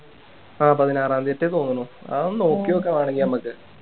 ആഹ് പതിനാറാംതീത്തെ തോന്നണു അതൊന്ന് നോക്കി നോക്കാം വേണെങ്കി നമുക്ക്